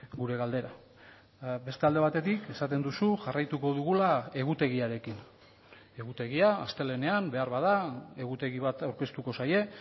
gure galdera beste alde batetik esaten duzu jarraituko dugula egutegiarekin egutegia astelehenean beharbada egutegi bat aurkeztuko zaie